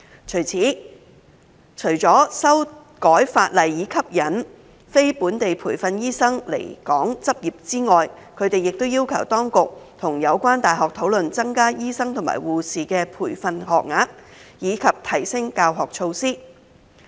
就此，除了修改法例以吸引非本地培訓醫生來港執業之外，他們亦要求當局與有關大學討論增加醫生及護士的培訓學額及提升教學措施。